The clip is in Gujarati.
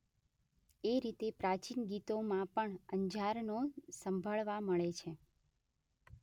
એ રીતે પ્રાચીન ગીતોમાં પણ અંજારનો સંભાળવા મળે છે.